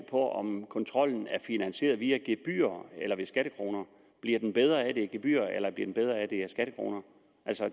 på om kontrollen er finansieret via gebyrer eller ved skattekroner bliver den bedre af at det er gebyrer eller bliver den bedre af at det er skattekroner